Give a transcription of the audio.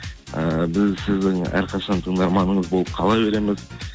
ііі біз сіздің әрқашан тыңдарманыңыз болып қала береміз